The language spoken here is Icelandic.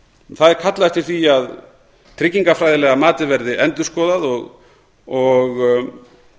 það er kallað eftir því að tryggingafræðilega matið verði endurskoðað og